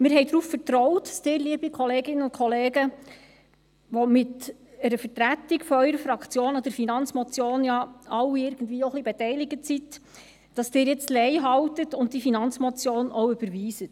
Wir vertrauten darauf, dass Sie, liebe Kolleginnen und Kollegen, die Sie mit einer Vertretung Ihrer Fraktion ja alle auch irgendwie ein bisschen an dieser Finanzmotion beteiligt sind, jetzt leihalten und die Finanzmotion auch überweisen.